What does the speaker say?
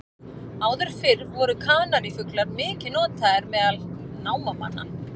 Áður fyrr voru kanarífuglar mikið notaðir meðal námamanna.